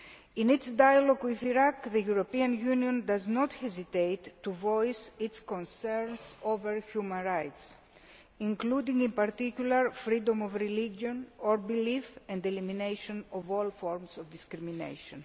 In its dialogue with Iraq, the Union does not hesitate to voice its concerns over human rights, including, in particular, freedom of religion or belief, and the elimination of all forms of discrimination.